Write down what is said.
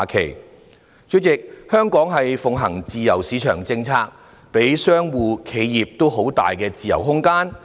代理主席，香港奉行自由市場政策，給予商戶和企業很大空間的自由。